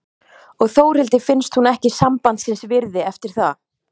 Og Þórhildi finnst hún ekki sambandsins virði eftir það.